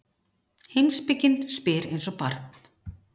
Heimspekin spyr eins og barn.